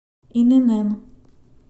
инн